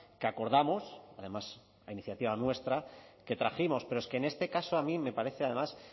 que acordamos además la iniciativa nuestra que trajimos pero es que en este caso a mí me parece además